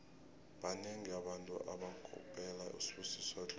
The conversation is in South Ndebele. banengi abantu abakopela usibusiso dlomo